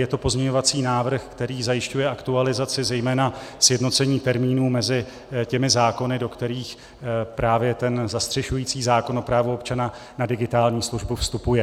Je to pozměňovací návrh, který zajišťuje aktualizaci, zejména sjednocení termínů mezi těmi zákony, do kterých právě ten zastřešující zákon o právu občana na digitální službu vstupuje.